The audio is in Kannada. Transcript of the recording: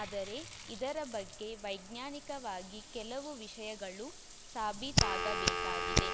ಆದರೆ ಇದರ ಬಗ್ಗೆ ವೈಜ್ಞಾನಿಕವಾಗಿ ಕೆಲವು ವಿಷಯಗಳು ಸಾಬೀತಾಗಬೇಕಾಗಿದೆ